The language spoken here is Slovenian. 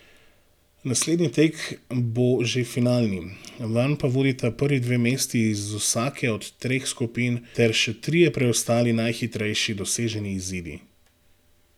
Naslednji tek bo že finalni, vanj pa vodita prvi dve mesti iz vsake od treh skupin ter še trije preostali najhitrejši doseženi izidi.